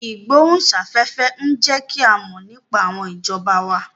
Ìgbóhùn sáfẹ́fẹ́ ń jẹ́ kí a mọ̀ nípa àwọn ìjọba wa